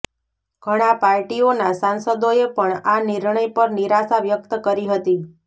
ઘણા પાર્ટીઓના સાંસદોએ પણ આ નિર્ણય પર નિરાશા વ્યક્ત કરી હતી